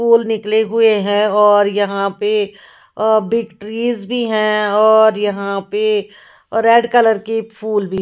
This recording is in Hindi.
पुल निकले हुए है और यहाँ पे बिग ट्रीज भी है और यहाँ पे रेड कलर की फुल भी--